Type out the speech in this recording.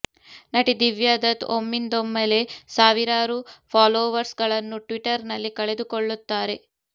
ನಟಿ ದಿವ್ಯಾ ದತ್ ಒಮ್ಮಿಂದೊಮ್ಮೆಲೆ ಸಾವಿರಾರು ಫಾಲೋವರ್ಸ್ ಗಳನ್ನು ಟ್ವಿಟರ್ ನಲ್ಲಿಕಳೆದುಕೊಳ್ಳುತ್ತಾರೆ